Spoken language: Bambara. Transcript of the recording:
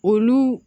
Olu